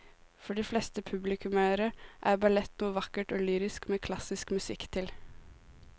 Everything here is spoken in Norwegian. For de fleste publikummere er ballett noe vakkert og lyrisk med klassisk musikk til.